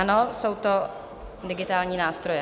Ano, jsou to digitální nástroje.